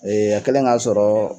a kɛlen ka y'a sɔrɔ